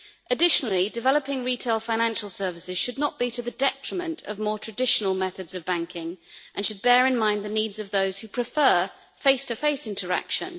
Additionally, developing retail financial services should not be to the detriment of more traditional methods of banking and should bear in mind the needs of those who prefer face to face interaction.